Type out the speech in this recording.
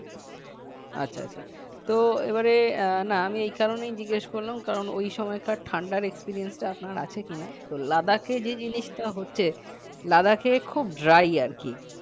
আচ্ছা আচ্ছা তো এবারে আহ না আমি এই কারণেই জিজ্ঞেস করলাম কারণ ওই সময়কার ঠান্ডার experience আপনার আছে কি না তো Ladakh এ যে জিনিসটা হচ্ছে Ladak খুব dry আর কি